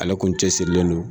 Ale kun cɛ sirilen don